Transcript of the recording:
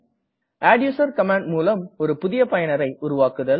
adduser command முலம் புதிய பயனரை உருவாக்குதல்